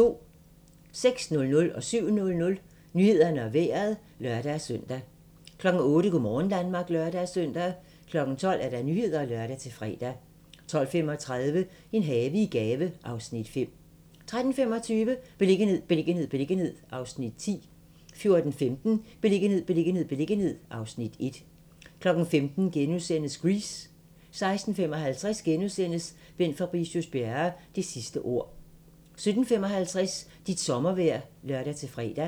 06:00: Nyhederne og Vejret (lør-søn) 07:00: Nyhederne og Vejret (lør-søn) 08:00: Go' morgen Danmark (lør-søn) 12:00: Nyhederne (lør-fre) 12:35: En have i gave (Afs. 5) 13:25: Beliggenhed, beliggenhed, beliggenhed (Afs. 10) 14:15: Beliggenhed, beliggenhed, beliggenhed (Afs. 1) 15:00: Grease * 16:55: Bent Fabricius-Bjerre - det sidste ord * 17:55: Dit sommervejr (lør-fre)